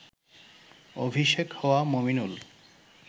অভিষেক হওয়া মমিনুল